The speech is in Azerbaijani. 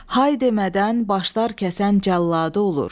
Hay demədən başlar kəsən cəlladı olur.